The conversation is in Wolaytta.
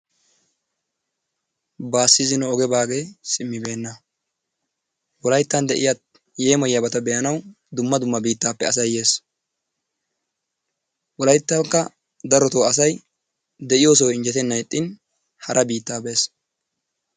Baassi zino oge baagee simibeena. Wolayttan de'iyaa yeemoyiyabata be'anawu dumma dumma biittappe asay yees. Wolayttankka darootoo asay de'iyo sohoy injjettenan ixxiin hara biittaa beesi.